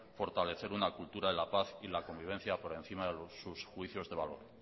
fortalecer una cultura en la paz y en la convivencia por encima de sus juicios de valor